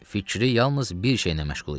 Fikri yalnız bir şeylə məşğul idi.